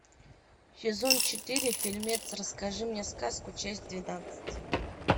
сезон четыре фильмец расскажи мне сказку часть двенадцать